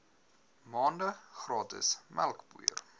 maande gratis melkpoeier